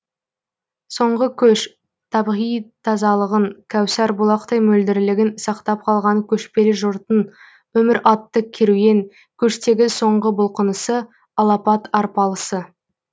соңғы көш табиғи тазалығын кәусар бұлақтай мөлдірлігін сақтап қалған көшпелі жұрттың өмір атты керуен көштегі соңғы бұлқынысы алапат арпалысы